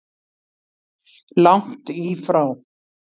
Langt í frá!